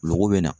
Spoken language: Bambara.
Golo bɛ na